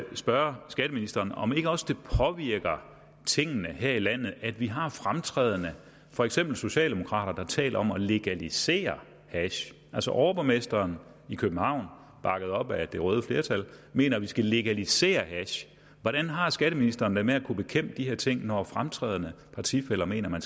spørge skatteministeren om ikke også det påvirker tingene her i landet at vi har fremtrædende for eksempel socialdemokrater der taler om at legalisere hash overborgmesteren i københavn bakket op af det røde flertal mener at vi skal legalisere hash hvordan har skatteministeren det med at kunne bekæmpe de her ting når fremtrædende partifæller mener at man